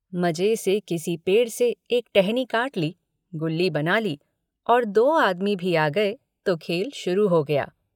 मजे से किसी पेड़ से एक टहनी काट ली गुल्ली बना ली और दो आदमी भी आ गये तो खेल शुरू हो गया।